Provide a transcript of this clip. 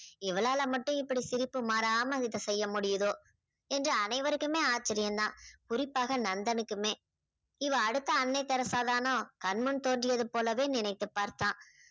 இவளால மட்டும் இப்படி சிரிப்பு மாறாம இதை செய்ய முடியுதோ என்று அனைவருக்குமே ஆச்சரியம் தான். குறிப்பாக நந்தனுக்குமே. இவள் அடுத்த அன்னை தெரெஸா தானோ? கண்முன் தோன்றியது போலவே நினைத்து பார்த்தான்.